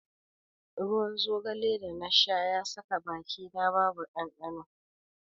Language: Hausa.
Ruwan zogale da na sha ya saka bakina babu ɗanɗano.